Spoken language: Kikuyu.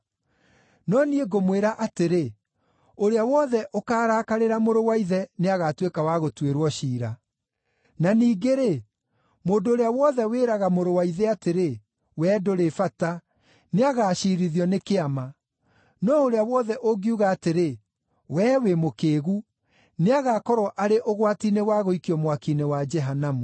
No niĩ ngũmwĩra atĩrĩ, ũrĩa wothe ũkarakarĩra mũrũ wa ithe nĩagatuĩka wa gũtuĩrwo ciira. Na ningĩ-rĩ, mũndũ ũrĩa wothe wĩraga mũrũ wa ithe atĩrĩ, ‘Wee ndũrĩ bata,’ nĩagaciirithio nĩ Kĩama. No ũrĩa wothe ũngiuga atĩrĩ, ‘Wee wĩ mũkĩĩgu!’ Nĩagakorwo arĩ ũgwati-inĩ wa gũikio mwaki-inĩ wa Jehanamu.